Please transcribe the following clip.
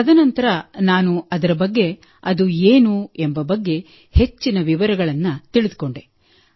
ತದನಂತರ ನಾನು ಅದರ ಬಗ್ಗೆ ಅದು ಏನು ಎಂಬ ಬಗ್ಗೆ ಹೆಚ್ಚಿನ ವಿವರಗಳನ್ನು ತಿಳಿದುಕೊಂಡೆ